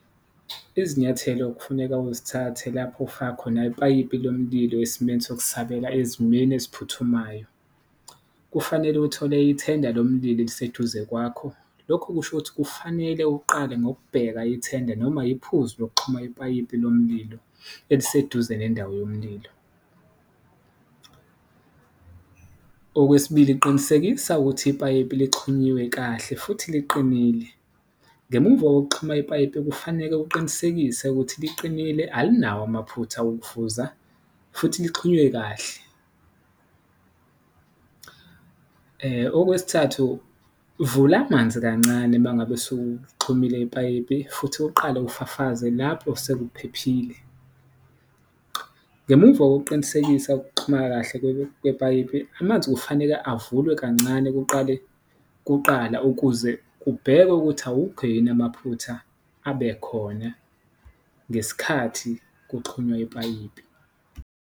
Izinyathelo okufuneka uzithathe lapho ufaka khona ipayipi lomililo esimeni sokusabela ezimeni eziphuthumayo, kufanele uthole ithenda lomlilo eliseduze kwakho, lokho kushukuthi kufanele uqale ngokubheka ithenda noma iphuzi lokuxhuma ipayipi lomililo eliseduze nendawo yomlilo. Okwesibili, qinisekisa ukuthi ipayipi lixhunyiwe kahle futhi liqinile, ngemuva kokuxhumana ipayipi kufaneke uqinisekise ukuthi liqinile alinawo amaphutha wokuvuza futhi lixhunywe kahle. Okwesithathu, vula amanzi kancane uma ngabe sewuxhumile ipayipi futhi uqale ufafaze lapho sekuphephile, ngemumva kokuqinisekisa ukuxhumana kahle kwepayipi, amanzi kufaneke avulwe kancane kuqala ukuze kubhekwe ukuthi awukho yini amaphutha abe khona ngesikhathi kuxhunywa ipayipi.